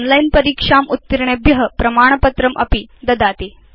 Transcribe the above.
online परीक्षाम् उत्तीर्णेभ्य प्रमाणपत्रमपि ददाति